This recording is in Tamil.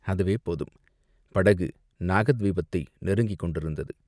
அதுவே போதும்!" படகு நாகத்வீபத்தை நெருங்கிக் கொண்டிருந்தது.